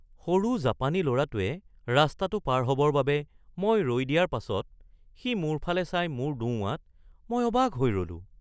সৰু জাপানী ল’ৰাটোৱে ৰাস্তাটো পাৰ হ'বৰ বাবে মই ৰৈ দিয়াৰ পাছত সি মোৰ ফালে চাই মূৰ দোওঁৱাত মই অবাক হৈ ৰ’লোঁ